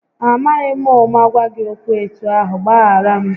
Amaghị m ụma gwa gị okwu etu ahụ, gbaghara m